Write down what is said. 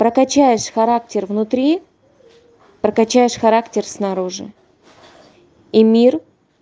прокачаешь характер внутри прокачаешь характер снаружи и мир